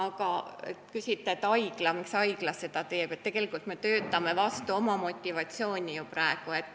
Kui küsite, miks haigla seda teeb, siis ütlen, et tegelikult me töötame praegu vastu oma motivatsiooni.